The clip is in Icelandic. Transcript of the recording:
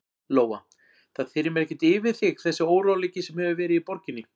Lóa: Það þyrmir ekkert yfir þig þessi óróleiki sem hefur verið í borginni?